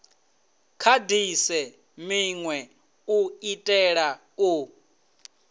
kandise minwe u itela u